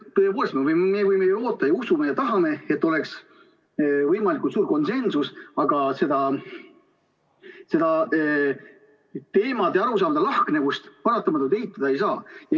Tõepoolest, me võime ju loota ja usume ja tahame, et oleks võimalikult suur konsensus, aga teemade ja arusaamade lahknevust paratamatult eitada ei saa.